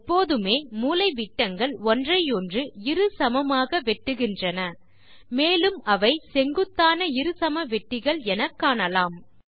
எப்போதுமே மூலைவிட்டங்கள் ஒன்றையொன்று இரு சமமாக வெட்டுகின்றன மேலும் அவை செங்குத்தான இருசமவெட்டிகள் என காணலாம்